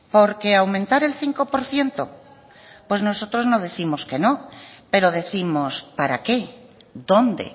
porque aumentar el cinco por ciento pues nosotros no décimos que no pero décimos para qué dónde